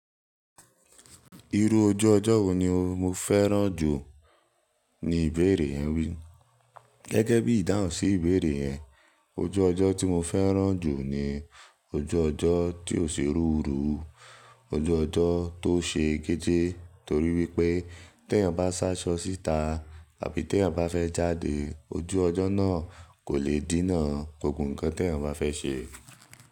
Irú ojú ọjọ́ wo ni o mo fẹ́ràn jù ní ìbéèrè yẹn wí. Gẹ́gẹ́ bí ìdáhùn sí ìbéèrè yẹn, ojú ọjọ́ tí mo fẹ́ràn jù ni ojú ọjọ́ tí ò ṣe ruru, ojú ọjọ́ tó ṣe géjé torí wípé tí èèyàn bá ṣáṣọ síta tàbí tí èèyàn bá fẹ́ jáde, ojú ọjọ́ náà kò le dènà gbogbo ǹkan tí èèyàn bá fẹ́ ṣe.